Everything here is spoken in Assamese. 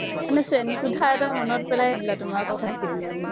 মানে শ্ৰেণী কোঠা এটা মনত পেলাই দিলে তোমাৰ কথা খিনিয়ে মোক।